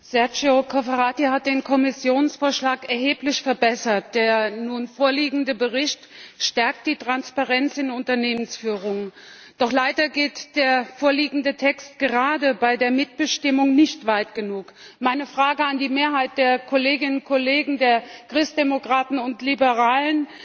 Herr Präsident! Sergio Gaetano Cofferati hat den Kommissionsvorschlag erheblich verbessert. Der nun vorliegende Bericht stärkt die Transparenz in der Unternehmensführung. Doch leider geht der vorliegende Text gerade bei der Mitbestimmung nicht weit genug. Meine Frage an die Mehrheit der Kolleginnen und Kollegen der Christdemokraten und der Liberalen